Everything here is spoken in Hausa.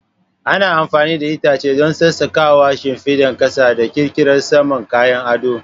Ana amfani da itace don sassaƙawa, shimfidar ƙasa da ƙirƙirar saman kayan ado.